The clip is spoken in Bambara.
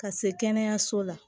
Ka se kɛnɛyaso la